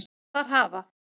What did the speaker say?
Þar hafa